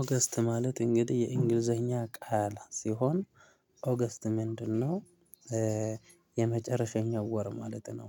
ኦገስት ማለት እንግዲህ የእንግሊዘኛ ቃል ሲሆን ኦገስት ምንድነው? የመጨረሸኛው ወር ማለት ነው።